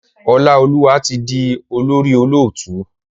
Olaoluwa tí dì olórí olóòtú.